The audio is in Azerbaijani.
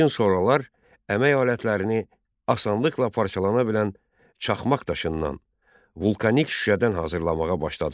Lakin sonralar əmək alətlərini asanlıqla parçalana bilən çaxmaq daşından, vulkanik şüşədən hazırlamağa başladılar.